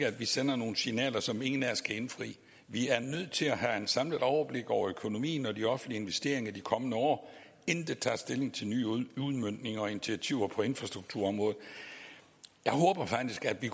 at vi sender nogle signaler som ingen af os kan indfri vi er nødt til at have et samlet overblik over økonomien og de offentlige investeringer de kommende år inden vi tager stilling til nye udmøntninger og initiativer på infrastrukturområdet jeg håber faktisk at vi